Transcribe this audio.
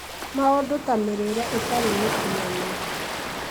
maũndũ ta mĩrĩĩre ĩtarĩ mĩkinyanĩru